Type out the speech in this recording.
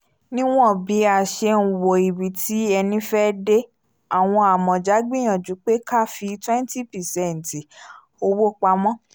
níwọ̀n bí a ṣe n wo ibi tí ẹni fẹ́ dé àwọn amọ̀ja gbìyànjú pé ká fi 20 percent owó pamọ́